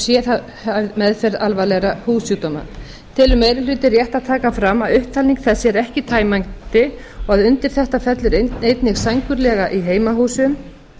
heimahúsum og sérhæfð meðferð alvarlegra húðsjúkdóma telur meiri hlutinn rétt að taka fram að upptalning þessi er ekki tæmandi og að undir þetta fellur einnig sængurlega í heimahúsum